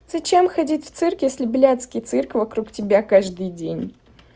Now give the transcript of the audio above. зачем ходить в цирк если блядский цирк вокруг тебя каждый день